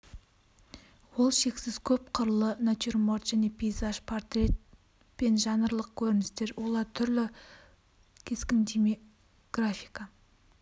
ол шексіз көп қырлы натюрморт және пейзаж портрет пен жанрлық көріністер олар түрлі кескіндеме графика